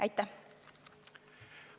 Aitäh!